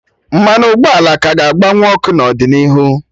Mmanụ ụgbọala ka ga-agba nwu ọkụ n'ọdịnihu